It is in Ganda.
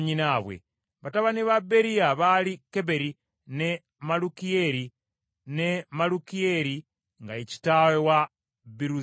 Batabani ba Beriya baali Keberi ne Malukiyeeri, ne Malukiyeeri nga ye kitaawe wa Biruzayisi.